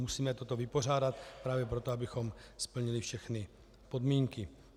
Musíme toto vypořádat právě proto, abychom splnili všechny podmínky.